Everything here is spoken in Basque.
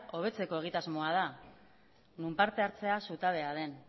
hobetzeko egitasmoa da non parte hartzea zutabea den